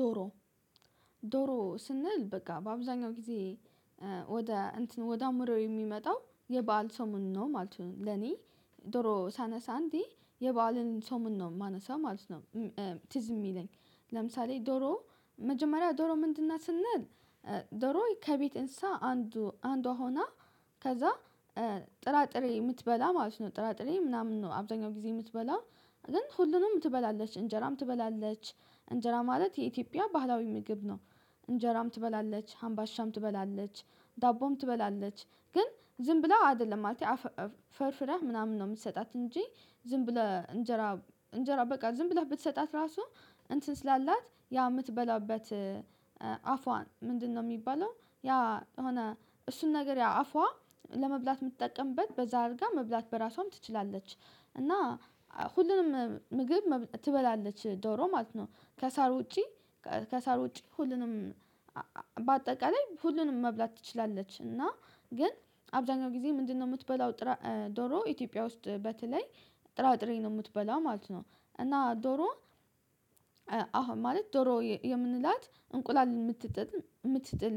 ዶሮ ዶሮ ስንል በቃ በአብዛኛው ጊዜ ወደ እንትን ወደ አምሮ የሚመጣው የበአል ሰሞን ነው ማለት ነው። ለኔ ዶሮ ሳነሳ እንዴ የበአልን ሰሞን ነው የማነሳው ማለት ነው። ትዝ የሚለኝ ለምሳሌ ዶሮ መጀመሪያ ዶሮ ምንድን ስንል ዶሮ ከቤት እንስሳ አንዱ አንዷ ሆና ከዛ ጥራጥሬ የምትበላ ማለት ነው ጥራጥሬ ምናምን ነው አብዛኛው ጊዜ የምትበላ ግን ሁሉንም ትበላለች እንጀራም ትበላለች። እንጀራ ማለት የኢትዮጵያ ባህላዊ ምግብ ነው። እንጀራም ትበላለች አምባሻም ትበላለች ዳቦም ትበላለች ግን ዝም ብለው አይደለም ማለት አፈርፍረን ምናምን ነው የምንሰጣት እንጂ ዝም ብለህ እንጀራ እንጀራ በቃ ዝም ብለህ ብትሰጣት ራሱ እንትን ስላላት ያ የምትበላበት አፏን ምንድነው የሚባለው ያ የሆነ እሱን ነገር ያ አፏ ለመብላት የምትጠቀምበት በዛ አድርጋ መብላት በራሷም ትችላለች። እና ሁሉንም ምግብ ትበላለች ዶሮ ማለት ነው። ከሳር ውጪ ከሳር ውጪ ሁሉንም በአጠቃላይ ሁሉንም መብላት ትችላለች። እና ግን አብዛኛው ጊዜ ምንድነው የምትበላው? ዶሮ ኢትዮጵያ ውስጥ በተለይ ጥራጥሬ ነው የምትበላ ማለት ነው። እና ዶሮ አሁን ማለት ዶሮ የምንላት እንቁላል የምትጥል የምትጥል